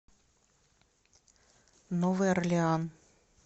новый орлеан